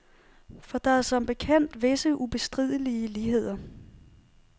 For der er som bekendt visse ubestridelige ligheder.